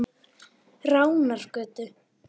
Ránargötu